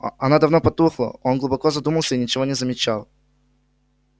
она давно потухла но он глубоко задумался и ничего не замечал